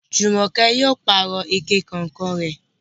Jùmọ̀kẹ́ yóò pààrọ̀ ike kànǹkàn rẹ̀.